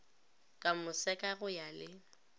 ka moseka go ya le